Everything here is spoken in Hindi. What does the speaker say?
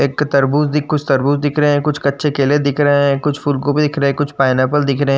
एक तरबुज दिख कुछ तरबुज दिख रहे हैं। कुछ कच्चे केले दिख रहे हैं। कुछ फूलगोभी दिख रहा है। कुछ पाइनएप्पल दिख रहें --